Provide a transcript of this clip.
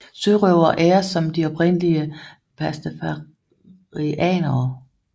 Sørøvere æres som de oprindelige pastafarianere